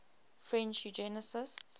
french eugenicists